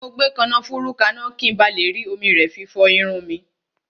Mo gbé kànáfùrú kaná, ki n ba le rí omi rẹ fi fọ ẹnu